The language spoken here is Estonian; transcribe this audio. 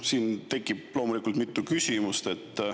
Siin tekib loomulikult mitu küsimust.